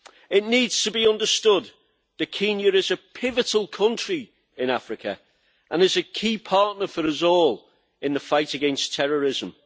It needs to be understood that Kenya is a pivotal country in Africa and is a key partner for us all in the fight against terrorism.